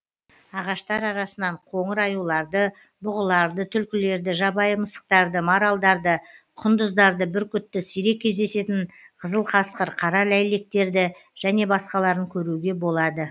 ағаштар арасынан қоңыр аюларды бұғыларды түлкілерді жабайы мысықтарды маралдарды құндыздарды бүркітті сирек кездесетін қызыл қасқыр қара ләйлектерді және басқаларын көруге болады